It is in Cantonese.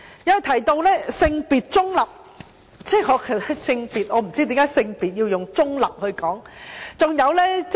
他提到"性別中立"，我不知道為何性別要用中立來形容。